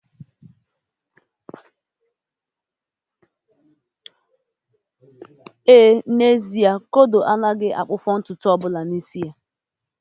Éè, n'ezie, kodo agaghị ahapụ ntutu ọbụla n'isi gi